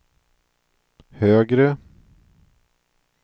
högre